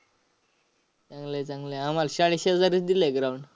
चांगलं आहे, चांगलं आहे. आम्हाला शाळेशेजारीच दिलंय ground